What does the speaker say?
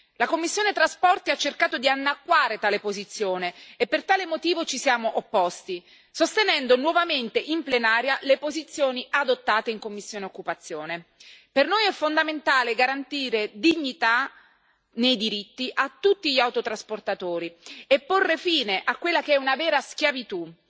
La commissione TRAN ha cercato di annacquare tale posizione e per tale motivo ci siamo opposti, sostenendo nuovamente in Aula le posizioni adottate in commissione EMPL. Per noi è fondamentale garantire dignità nei diritti a tutti gli autotrasportatori e porre fine a quella che è una vera schiavitù,